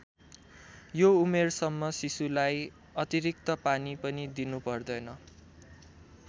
यो उमेरसम्म शिशुलाई अतिरिक्त पानी पनि दिनुपर्दैन।